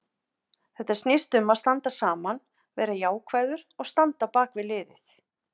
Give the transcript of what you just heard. Þetta snýst um að standa saman, vera jákvæður og standa á bakvið liðið.